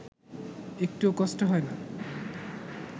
একটুও কষ্ট হয় না